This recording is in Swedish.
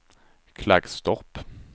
Klagstorp